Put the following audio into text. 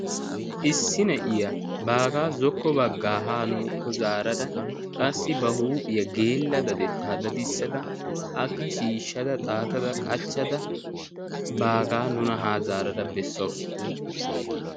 Issi na7iya baagaa zokko baggaa haa nuukko zaarara qassi ba huuphiyaa geella dadetaa dadissada akka shiishshada xaatada qachchada baagaa nuna haa zaarada bessawusu.